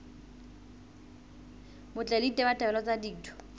botle le ditabatabelo tsa ditho